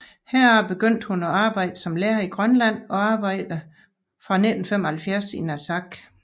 Herefter begyndte hun at arbejde som lærer i Grønland og arbejde fra 1975 i Narsaq